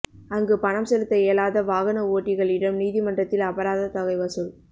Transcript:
அங்கு பணம் செலுத்த இயலாத வாகன ஓட்டிகளிடம் நீதிமன்றத்தில் அபராத தொகை வசூல்